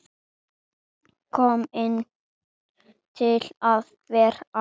Kominn til að vera.